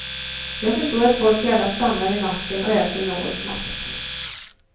Jag förstår att folk gärna stannar vid macken och äter något snabbt.